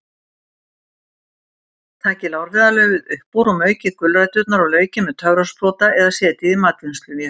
Takið lárviðarlaufið upp úr og maukið gulræturnar og laukinn með töfrasprota eða setjið í matvinnsluvél.